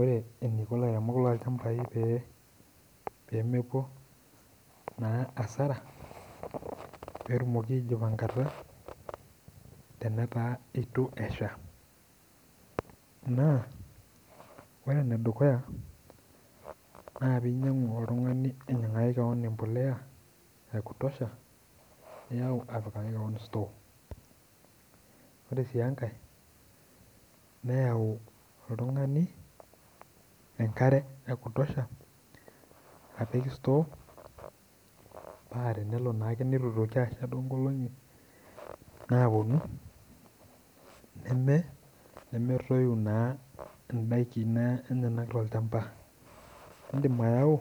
Ore eneiko lairemok loo ilchambai pee emepuo naa asara peetumoki aijipangata tenetaa eitu esha, naa ore ne dukuya naa peyie ainyangu oltungani ainyangaki keon mbolea ya kutosha, niyau apik sutoo. Ore sii enkae neyau oltungani enkare ekutosha apik sutoo, paa tenelo naake neitu eitoki asha tee enkolongi naaponu nemeeroiyu naa indaki tiatua ilchamba, indim ayau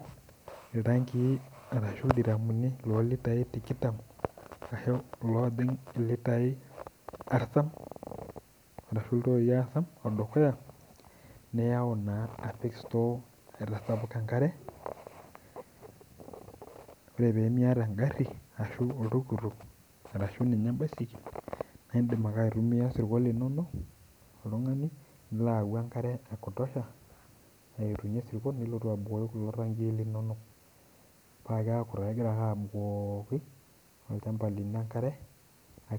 iltankii arashu iltiraami olitai tikitam ashu loojing' litai aritam ashu litai osom odukuya, niyau naa apiki sutoo etasapuka inkare, ore pemieta engarri ashu oltuktuk arashu ninye embaisikel naa indim ake aitumiya sirkon linono oltungani nilo ayau enkare ekutosha ayeunye sirkon nilotu abukoki iltoii linonok paa keaku kegira ake abukoki olchamba lino enkare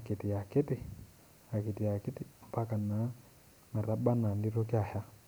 kiti akiti impaka naa metabaki ana meinyaaki asha.